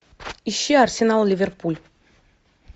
ищи арсенал ливерпуль